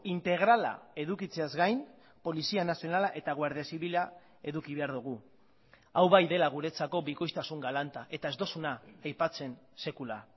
integrala edukitzeaz gain polizia nazionala eta guardia zibila eduki behar dugu hau bai dela guretzako bikoiztasun galanta eta ez duzuna aipatzen sekula